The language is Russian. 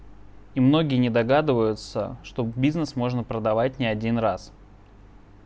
и многие не догадываются чтоб бизнес можно продавать не один раз